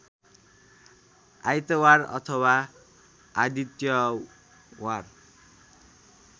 आइतवार अथवा आदित्यवार